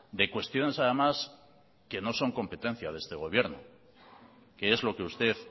de cuestiones además que no son competencia de este gobierno que es lo que usted